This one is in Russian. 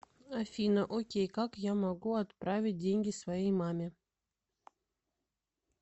афина окей как я могу отправить деньги своей маме